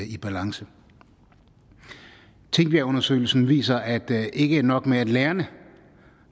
i balance tingbjergundersøgelsen viser at ikke nok med at lærerne